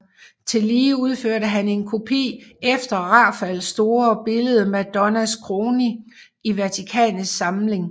Tillige udførte han en kopi efter Rafaels store billede Madonnas Kroning i Vatikanets samling